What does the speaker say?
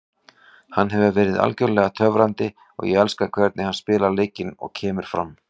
Hann hefur verið algjörlega töfrandi og ég elska hvernig hann spilar leikinn og kemur fram.